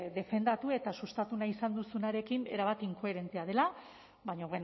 defendatu eta sustatu nahi izan duzunarekin erabat inkoherentea dela baina